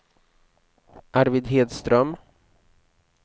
Arvid Hedström